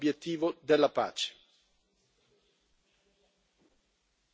Non bisogna assolutamente deflettere dall'obiettivo della pace.